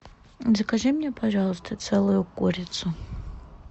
закажи мне пожалуйста целую курицу